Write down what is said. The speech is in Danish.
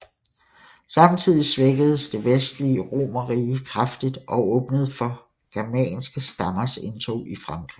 Samtidig svækkedes det vestlige romerrige kraftigt og åbnede for germanske stammers indtog i Frankrig